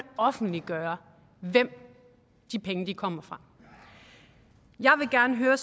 offentliggøre hvem de penge kommer fra jeg vil gerne høre